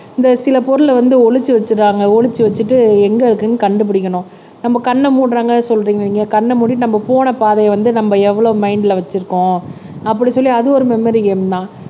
இந்த சில பொருளை வந்து ஒழிச்சு வச்சிடுறாங்க ஒளிச்சு வச்சிட்டு எங்க இருக்குன்னு கண்டுபிடிக்கணும் நம்ம கண்ணை மூடுறாங்க சொல்றீங்க கண்ணை மூடிட்டு நம்ம போன பாதையை வந்து நம்ம எவ்வளவு மைன்ட்ல வச்சிருக்கோம் அப்படி சொல்லி அது ஒரு மெமரி கேம்தான்